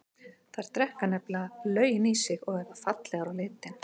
Þær drekka nefnilega löginn í sig og verða fallegar á litinn.